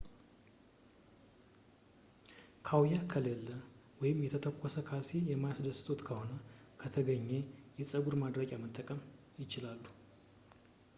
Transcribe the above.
ካውያ ከሌለ ወይም የተተኮሰ ካልሲ የማያስደስትዎት ከሆነ ከተገኘ የጸጉር ማድረቂያ መጠቀም ይችላሉ